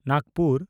Nagpur